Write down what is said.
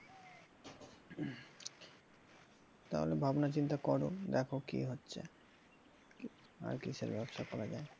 তাহলে ভাবনা চিন্তা করো দেখো কি হচ্ছে আর কিসের ব্যবসা করা যায়।